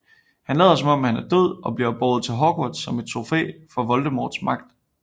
Han lader som om han er død og bliver båret til Hogwarts som et trofæ for Voldemorts magt